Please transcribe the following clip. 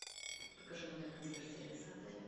покажи номер консьерж сервиса отеля